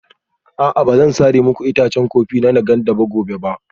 A'a ba zan sare muku itacen kofi na Nganda gobe ba